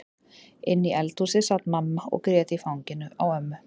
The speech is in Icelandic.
Inni í eldhúsi sat mamma og grét í fanginu á ömmu.